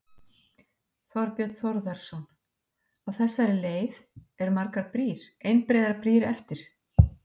Þorbjörn Þórðarson: Á þessari leið, eru margar brýr, einbreiðar brýr eftir?